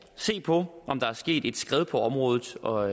se på om der er sket et skred på området og